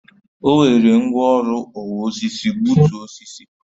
O were ngwaọrụ ọwa osisi gbutu osisi